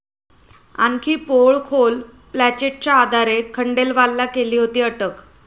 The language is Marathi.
आणखी 'पोळ'खोल, प्लँचेटच्या आधारे खंडेलवालला केली होती अटक